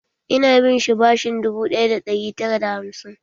Ina binsa bashin dubu ɗaya da ɗari tara da hamsin.